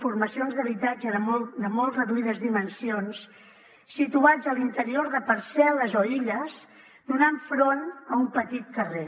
formacions d’habitatge de molt reduïdes dimensions situats a l’interior de parcel·les o illes donant front a un petit carrer